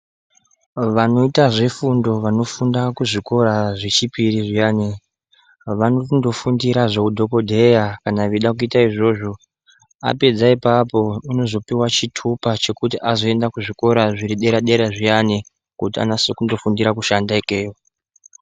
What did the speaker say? Vanoita zvefundo vanofunda kuzvikora zvechipiri zviyani vanonofundira zveudhokodheya kana veida kuita izvozvo apedza ipapo anozopiwa chitupa chekuti azoenda kuzvikora zviri dera dera zviyani kuti anyase kundofundira ikeyo.